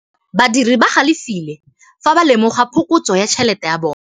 Badiri ba galefile fa ba lemoga phokotsô ya tšhelête ya bone.